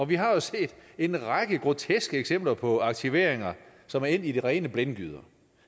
vi har jo set en række groteske eksempler på aktiveringer som er endt i de rene blindgyder